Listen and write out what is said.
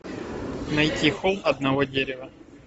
найти холм одного дерева